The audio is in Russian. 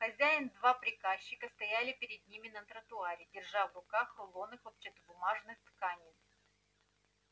хозяин два приказчика стояли перед ними на тротуаре держа в руках рулоны хлопчатобумажных тканей